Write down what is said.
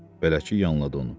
Bələtçi yanladı onu.